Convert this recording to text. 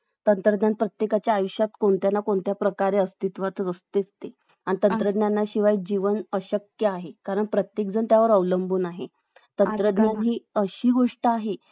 अं आता आपण बघितलं तर दोन हजार पाच मध्ये आयोग बनला म्हणजे अं स्थापन केलंय आणि या अं वेगवेगळ्या योजनां अं द्वारे किंवा वेगवेगळ्या कायद्यांद्वारे अं